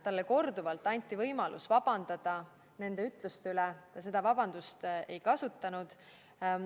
Talle anti korduvalt võimalus vabandada nende ütluste eest, seda võimalust ta ei kasutanud.